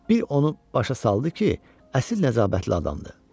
Bir onu başa saldı ki, əsil nəcabətli adamdır.